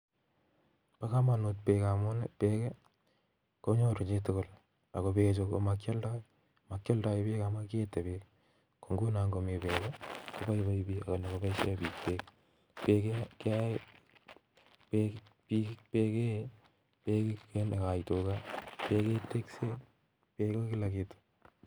Pakamunut Beek amun peek kenyoruu chitugul makyaldai Beek amun nyoru chitugul peek koee Tiga ako nyiru chitugul peek kokila kitu